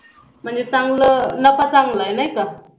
म्हणजे चांगल नफा चांगल आहे नाही का